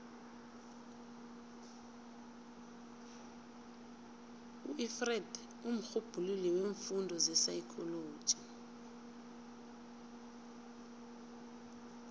ufreud mrhubhululi weemfundo zepsychology